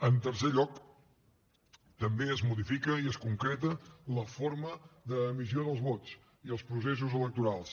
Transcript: en tercer lloc també es modifica i es concreta la forma d’emissió dels vots i els processos electorals